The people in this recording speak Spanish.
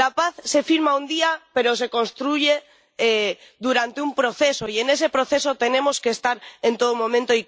La paz se firma un día pero se construye durante un proceso, y en ese proceso tenemos que estar en todo momento.